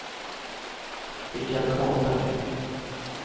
Richard Karlberg